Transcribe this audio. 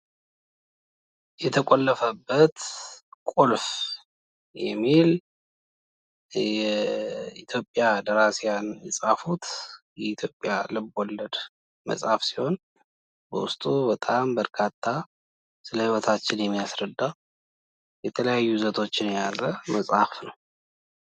የተቆለፈበት ቁልፍ የሚል የኢትዮጵያውያን ደራሲ የፃፉት የኢትዮጵያ ልብ ወለድ ሲሆን በውስጡ በጣም ብዙ ስለ ህይወታችን የሚያስረዳ የተለያየ ይዘቶችን የያዘ መፅሀፍ ነው ።